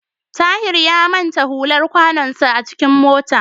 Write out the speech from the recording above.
Tahir ya manta hular kwanonsa a cikin mota.